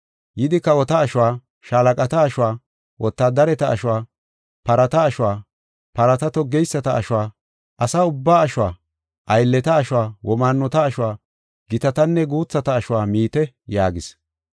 Yidi kawota ashuwa, shaalaqata ashuwa, wotaadareta ashuwa, parata ashuwa, parata toggeyisata ashuwa, asa ubbaa ashuwa, aylleta ashuwa, womaannota ashuwa, gitatanne guuthata ashuwa miite” yaagis.